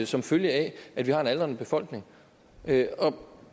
som følge af at vi har en aldrende befolkning det